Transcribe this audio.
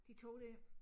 De 2 dér